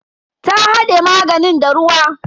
Ta hade maganin da ruwa.